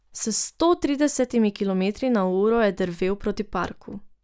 S sto tridesetimi kilometri na uro je drvel proti parku.